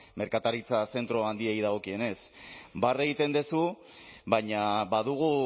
merkataritza zentro handiei dagokienez barre egiten duzu baina badugu